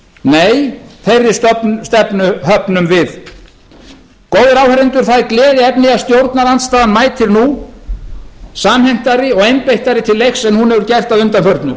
nei þeirri stefnu höfnum við góðir áheyrendur það er gleðiefni að stjórnarandstaðan mætir nú samhentari og einbeittari til leiks en hún hefur gert að undanförnu